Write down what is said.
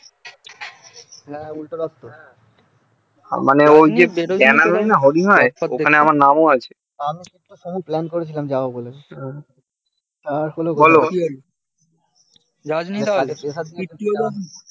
আমি plan করেছিলাম যাবো বলে বোলো